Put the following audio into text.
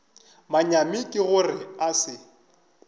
manyami ke gore a se